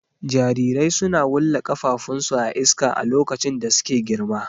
Jarirai suna wulla ƙafafun su a iska a lokacin da suke girma.